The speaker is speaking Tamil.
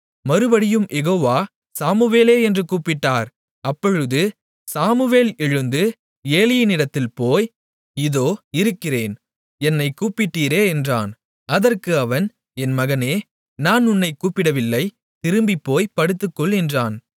மறுபடியும் யெகோவா சாமுவேலே என்று கூப்பிட்டார் அப்பொழுது சாமுவேல் எழுந்து ஏலியினிடத்தில் போய் இதோ இருக்கிறேன் என்னைக் கூப்பிட்டீரே என்றான் அதற்கு அவன் என் மகனே நான் உன்னைக் கூப்பிடவில்லை திரும்பிப்போய்ப் படுத்துக்கொள் என்றான்